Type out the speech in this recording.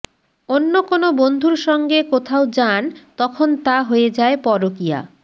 অন্য কোনও বন্ধুর সঙ্গে কোথাও যান তখন তা হয়ে যায় পরকীয়া